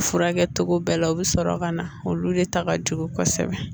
Furakɛ cogo bɛɛ la u bɛ sɔrɔ ka na olu de ta ka jugu kosɛbɛ